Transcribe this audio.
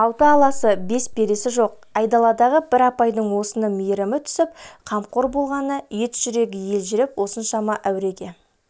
алты аласы бес бересі жоқ айдаладағы бір апайдың осынша мейірімі түсіп қамқор болғанына етжүрегі елжіреп осыншама әуреге